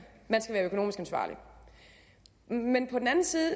være økonomisk ansvarlig men på den anden side